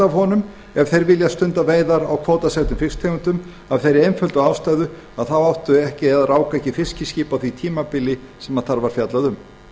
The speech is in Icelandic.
honum ef þeir vilja stunda veiðar á kvótasettum fisktegundum af þeirri einföldu ástæðu að þeir áttu ekki eða ráku ekki fiskiskip á því tímabili sem þar var fjallað um